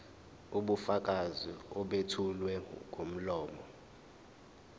ubufakazi obethulwa ngomlomo